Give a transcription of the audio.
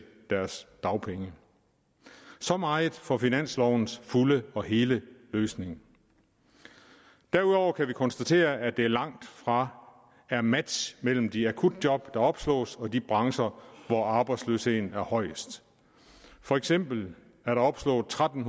deres dagpenge så meget for finanslovens fulde og hele løsning derudover kan vi konstatere at der langtfra er match mellem de akutjob der opslås og de brancher hvor arbejdsløsheden er højst for eksempel er der opslået tretten